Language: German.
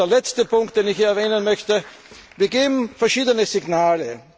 Der letzte Punkt, den ich erwähnen möchte Wir geben verschiedene Signale.